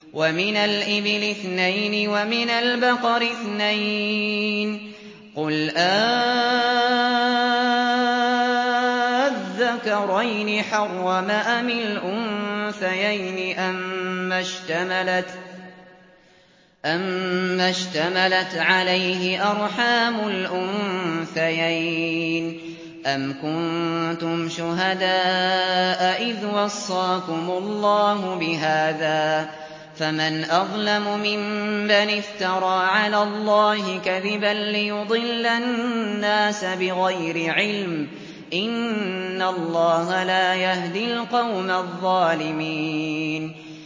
وَمِنَ الْإِبِلِ اثْنَيْنِ وَمِنَ الْبَقَرِ اثْنَيْنِ ۗ قُلْ آلذَّكَرَيْنِ حَرَّمَ أَمِ الْأُنثَيَيْنِ أَمَّا اشْتَمَلَتْ عَلَيْهِ أَرْحَامُ الْأُنثَيَيْنِ ۖ أَمْ كُنتُمْ شُهَدَاءَ إِذْ وَصَّاكُمُ اللَّهُ بِهَٰذَا ۚ فَمَنْ أَظْلَمُ مِمَّنِ افْتَرَىٰ عَلَى اللَّهِ كَذِبًا لِّيُضِلَّ النَّاسَ بِغَيْرِ عِلْمٍ ۗ إِنَّ اللَّهَ لَا يَهْدِي الْقَوْمَ الظَّالِمِينَ